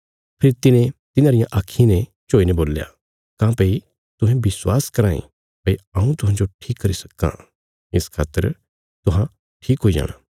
फेरी तिने तिन्हांरियां आक्खीं ने छोईने बोल्या काँह्भई तुहें विश्वास कराँ ये भई हऊँ तुहांजो ठीक करी सक्कां इस खातर तुहां ठीक हुई जाणा